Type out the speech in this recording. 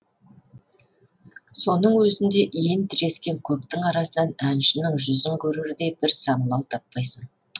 соның өзінде иін тірескен көптің арасынан әншінің жүзін көрердей бір саңылау таппайсың